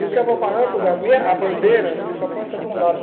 E o quebra-barranco, a bandeira, você só corta de um lado.